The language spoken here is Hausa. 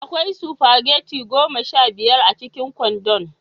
Akwai spaghetti goma sha biyar a cikin kwandon.